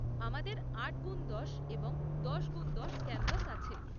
আমাদের আট গুণ দশ এবং দশ গুণ দশ ক্যানভাস আছে।